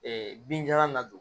binjalan na